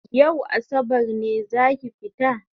Yau asabar ne zaki fita?